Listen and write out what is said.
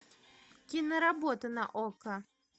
киноработа на окко